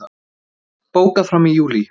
Bókað fram í júlí